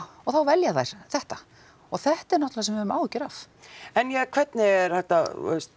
og þá velja þær þetta og þetta er náttúrulega við höfum áhyggjur af en hvernig er hægt að